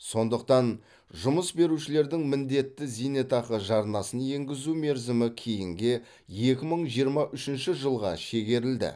сондықтан жұмыс берушілердің міндетті зейтақы жарнасын енгізу мерзімі кейінге екі мың жиырма үшінші жылға шегерілді